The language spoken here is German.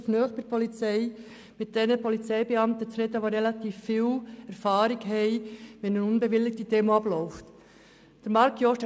Marc Jost hat gesagt, er hoffe, dass man sich nicht an unbewilligten Kundgebungen beteilige.